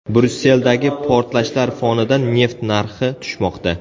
Bryusseldagi portlashlar fonida neft narxi tushmoqda.